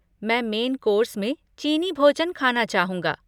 मैं main course में चीनी भोजन खाना चाहूँगा।